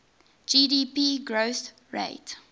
gdp growth rate